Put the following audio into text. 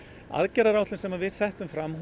aðgerðaráætlun sem við settum fram